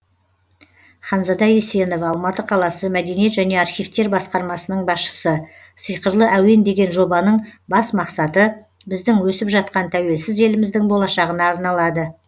ханзада есенова алматы қаласы мәдениет және архивтер басқармасының басшысы сиқырлы әуен деген жобаның бас мақсаты біздің өсіп жатқан тәуелсіз еліміздің болашағына арналады